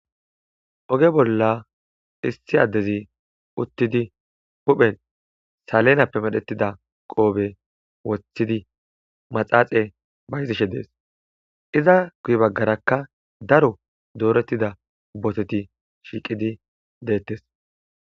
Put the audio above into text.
oge bolla issi addezi uttidi huphen salenappe medhetida qoobe woththidi maxaaxe bayzishe dees iza guy baggarakka daro doorettida boteti shiiqidi deettes